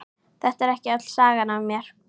Þetta er ekki öll sagan af mér.